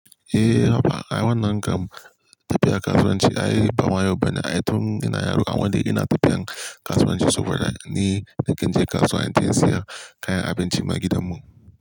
Eh haba, ai wannan kam tafiya kasuwanci ai bama yauba ne ai ai tun ina yaro, amman dai ina tafiyan kasuwanci saboda ni nakan je kasuwa inje in siya kayan abinci ma gidan mu.